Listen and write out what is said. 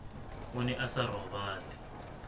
o ne a sa robale